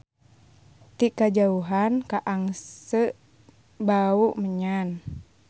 Ti kajauhan kaangse bau menyan.